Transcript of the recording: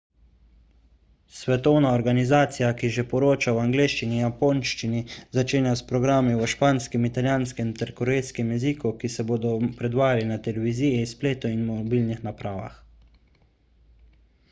svetovna organizacija ki že poroča v angleščini in japonščini začenja s programi v španskem italijanskem ter korejskem jeziku ki se bodo predvajali na televiziji spletu in mobilnih napravah